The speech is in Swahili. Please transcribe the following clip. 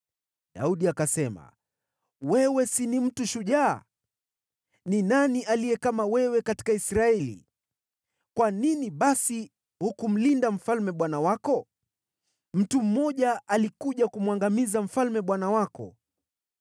Daudi akasema, “Wewe si ni mtu shujaa? Ni nani aliye kama wewe katika Israeli? Kwa nini basi hukumlinda mfalme bwana wako? Mtu mmoja alikuja kumwangamiza mfalme, bwana wako.